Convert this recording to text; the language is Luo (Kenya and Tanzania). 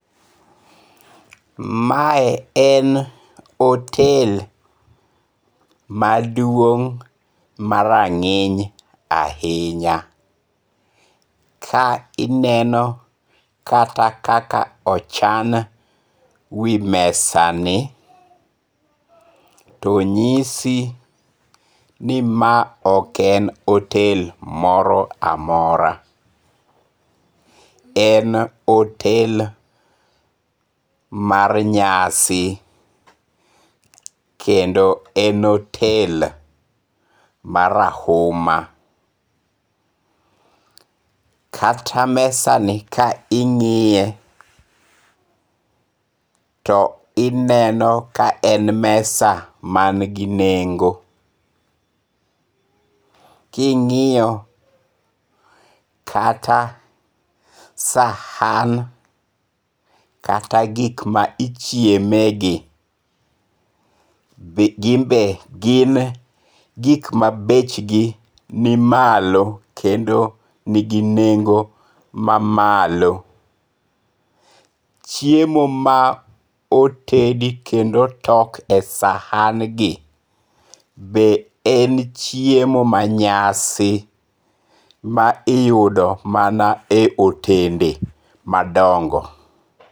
Mae en hotel maduong' marang'iny ahinya, ka ineno kata kaka ochan wi mesani, to nyisi ni ma ok en hotel moroamora, en hotel mar nyasi kendo en hotel marahuma, kata mesani ka ingi'ye to ineno ka en mesa mangi nengo', kingi'yo kata sahan kata gik ma ichiemegi , be gin be gin gik ma bechgi nimalo kendo nigi nengo' mamalo, chiemo ma otedi kendo otok e sahangi be en chiemo manyasi ma uyudo ma otende madongo'